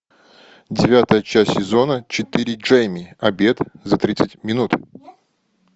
девятая часть сезона четыре джейми обед за тридцать минут